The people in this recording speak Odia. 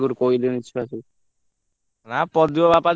ନା ପ୍ରଦୀପ ବାପା ଯୋଉଭଳିଆ ଲୋକ ସେ ଛାଡିଆ ପିଲା ମତେ କାଇଁ ଲାଗୁନି।